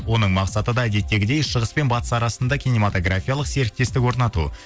оның мақсаты да әдеттегідей шығыс пен батыс арасында киномотографиялық серіктестік орнату